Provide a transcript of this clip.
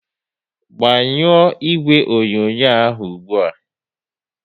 Gbanyuo ìgwè onyonyo ahụ ụgbụa!